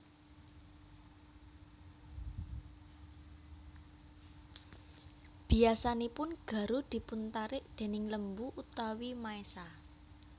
Biasanipun garu dipun tarik déning lembu utawi maésa